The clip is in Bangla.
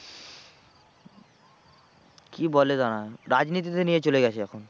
কি বলে দাঁড়া রাজনীতিতে নিয়ে চলে গেছে এখন।